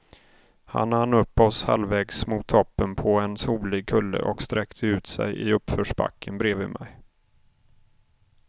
Han hann upp oss halvvägs mot toppen på en solig kulle och sträckte ut sig i uppförsbacken bredvid mig.